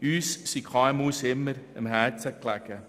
Uns sind die KMU immer am Herzen gelegen.